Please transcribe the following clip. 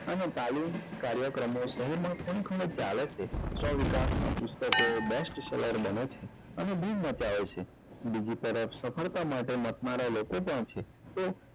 અને તાલીમ કાર્યક્રમો શહેર માં ખૂણે ખૂણે ચાલે છે સ્વ વિકાસ નાં પુસ્તકો best શહેર બને છે અને બૂમ મચાવે છે બીજી તરફ સફળતા માટે મથનારા લોકો પણ છે તે